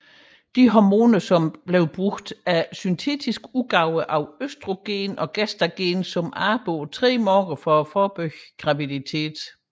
De hormoner der anvendes er syntetiske udgaver af østrogen og gestagen som arbejder på tre måder for at forebygge graviditet